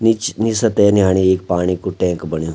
निछ निसा तेन यानी इख पाणी कु टैंक बण्यां।